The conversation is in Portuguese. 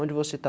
Onde você está?